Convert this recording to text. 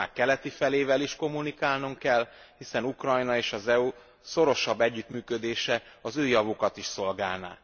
Az ország keleti felével is kommunikálnunk kell, hiszen Ukrajna és az EU szorosabb együttműködése az ő javukat is szolgálná.